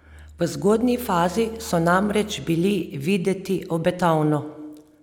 V zgodnji fazi so namreč bili videti obetavno!